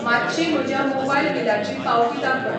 मातशी म्हज्या मोबायल बिलाची पावती दाखय.